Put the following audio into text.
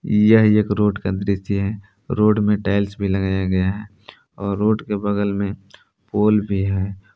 यह एक रोड का दृश्य है रोड में टाइल्स भी लगाया गया है और रोड के बगल में पोल भी है।